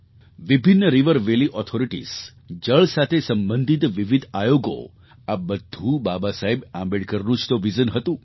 વિભિન્ન river valley authorities જળ સાથે સંબંધિત વિવિધ આયોગો આ બધું બાબાસાહેબ આંબેડકરનું જ તો વિઝન હતું